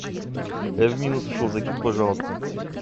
я в минус ушел закинь пожалуйста